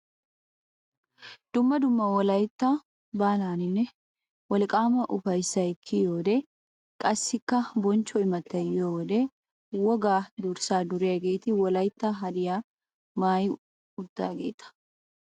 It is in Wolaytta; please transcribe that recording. Dumma dumma wolayitya baalaninne wolqaama ufayossay kiyiyo wode qassikka bonchcho imttay yiyo wode wogaa durssaa duriyaageeta. Wolayitta hadiyaa maayi uttidaageeta.